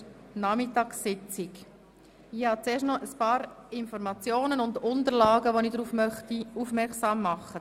Ich möchte zuerst noch auf ein paar Informationen und Unterlagen aufmerksam machen.